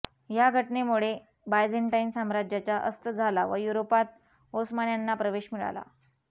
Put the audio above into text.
ह्या घटनेमुळे बायझेंटाईन साम्राज्याचा अस्त झाला व युरोपात ओस्मान्यांना प्रवेश मिळाला